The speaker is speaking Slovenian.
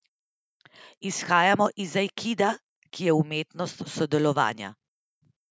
Izhajamo iz aikida, ki je umetnost sodelovanja.